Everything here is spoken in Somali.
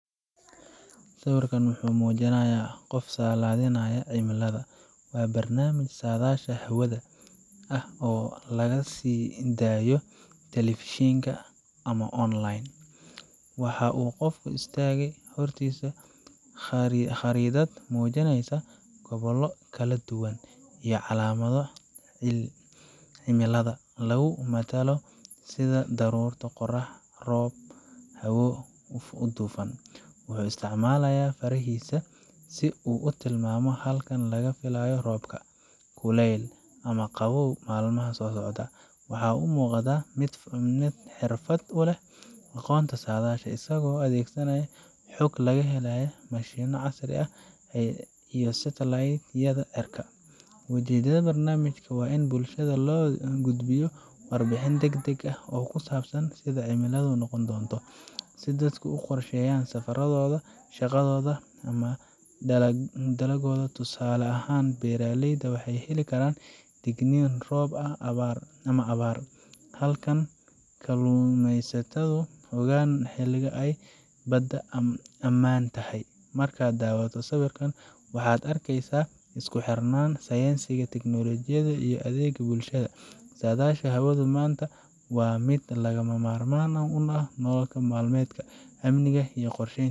Sawirkan muhu mujinaya qof sadalinaya hawada, waa barnamish sadashaa hawada. Hawada xigta ee waa mid aad u deggan, waana halka laga helo lakabka , kaas oo muhiim u ah ilaalinta noolaha dhulka ku nool. wuxuu nuugaa shucaaca ee ka imanaya qorraxda, isagoo ka hortagaya inuu waxyeelleeyo maqaarka iyo indhaha aadanaha iyo dhirta kale. In kasta oo aanu lahayn cimilo firfircoon sida , haddana waa meel muhiim ah oo lagala socdo isbedbedelka kulaylka caalamiga ah iyo saamaynta ay hawada sare ku leedahay isbeddelka cimilada. Sadayasha hawada manta waa mid lagama marman ah ,nolol malmedka amniga iyo qorsheynta.